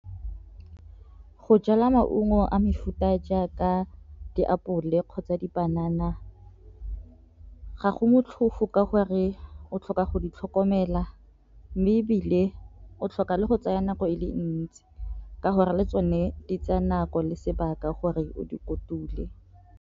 Go jala maungo a mefuta jaaka diapole kgotsa dipanana ga go motlhofo ka gore o tlhoka go ditlhokomela, mme e bile o tlhoka le go tsaya nako e le ntsi ka gore le tsone di tsaya nako le sebaka gore o di kotule.